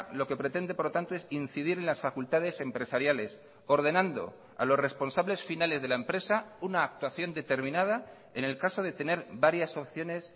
lo que pretende por lo tanto es incidir en las facultades empresariales ordenando a los responsables finales de la empresa una actuación determinada en el caso de tener varias opciones